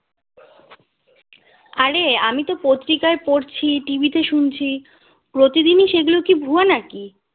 আরে আমি তো পত্রিকায় পড়ছি TV তে শুনছি প্রতিদিনই সেগুলো কি ভুয়ো নাকি